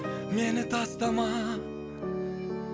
мені тастама